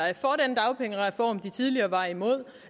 er for den dagpengereform de tidligere var imod